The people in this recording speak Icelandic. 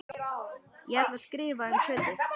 Ég ætla að skrifa um Kötu